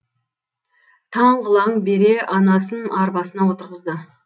таң қылаң бере анасын арбасына отырғызды